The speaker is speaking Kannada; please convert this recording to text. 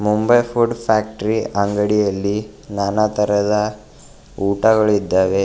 ಮುಂಬೈ ಫುಡ್ ಫ್ಯಾಕ್ಟರಿ ಅಂಗಡಿಯಲ್ಲಿ ನಾನಾ ತರಹದ ಊಟಗಳಿದ್ದಾವೆ.